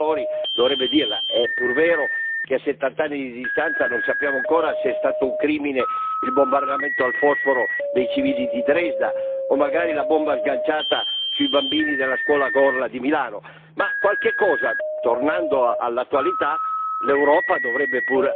È pur vero che a settant'anni di distanza non sappiamo ancora se è stato un crimine il bombardamento al fosforo dei civili di Dresda, o magari la bomba sganciata sui bambini della scuola Gorla di Milano, ma qualche cosa, tornando all'attualità, l'Europa dovrebbe pure avere il coraggio di dire.